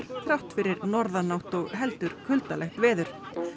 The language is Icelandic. þrátt fyrir norðanátt og heldur kuldalegt veður